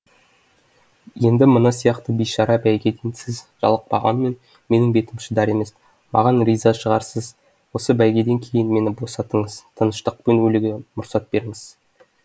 енді мына сияқты бейшара бәйгеден сіз жалықпағанмен менің бетім шыдар емес маған риза шығарсыз осы бәйгеден кейін мені босатыңыз тыныштықпен өлуге мұрсат беріңіз